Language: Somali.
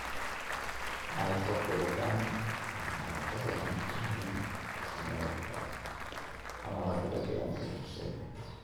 waxay ku xidhan yihiin dhaqamada iyo dhaqamada kala duwan ee bulshada.